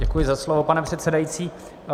Děkuji za slovo, pane předsedající.